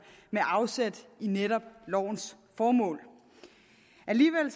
med afsæt i netop lovens formål alligevel